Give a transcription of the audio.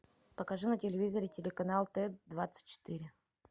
покажи на телевизоре телеканал т двадцать четыре